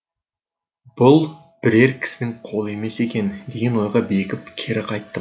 бұл бірер кісінің қолы емес екен деген ойға бекіп кері қайттым